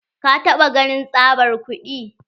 Ka taɓa ganin tsabar kuɗi?